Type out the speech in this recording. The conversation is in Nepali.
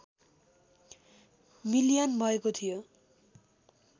मिलियन भएको थियो